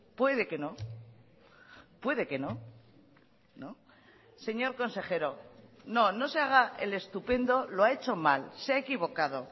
puede que no puede que no señor consejero no no se haga el estupendo lo ha hecho mal se ha equivocado